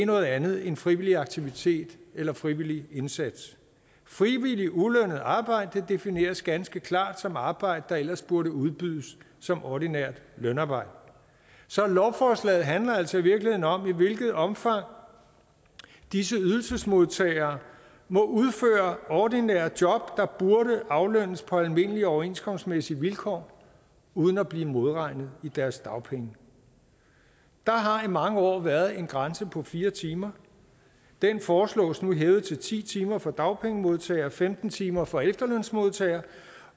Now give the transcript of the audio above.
noget andet end frivillig aktivitet eller frivillig indsats frivilligt ulønnet arbejde defineres ganske klart som arbejde der ellers burde udbydes som ordinært lønarbejde så lovforslaget handler altså i virkeligheden om i hvilket omfang disse ydelsesmodtagere må udføre ordinære job der burde aflønnes på almindelige overenskomstmæssige vilkår uden at blive modregnet i deres dagpenge der har i mange år været en grænse på fire timer den foreslås nu hævet til ti timer for dagpengemodtagere og femten timer for efterlønsmodtagere